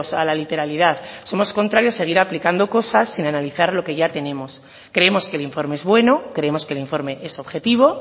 a la literalidad somos contrarios a seguir aplicando cosas sin analizar lo que ya tenemos creemos que el informe es bueno creemos que el informe es objetivo